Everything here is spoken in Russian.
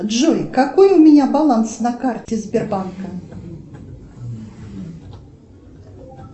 джой какой у меня баланс на карте сбербанка